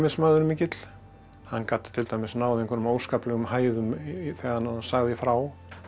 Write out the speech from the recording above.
samkvæmismaður mikill hann gat til dæmis náð einhverjum óskaplegum hæðum þegar hann sagði frá